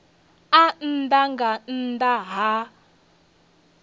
a nnḓa nga nnḓa ha